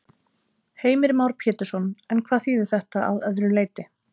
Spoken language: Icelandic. Heimir Már Pétursson: En hvað þýðir þetta að öðru leyti?